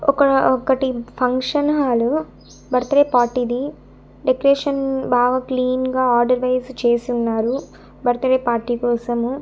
ఒక ఒకటి function hall birthday party ది డెకరేషన్ బాగా క్లీన్ గా ఆర్డర్ వైస్ చేసి ఉన్నారు బర్త్ డే పార్టీ కోసము.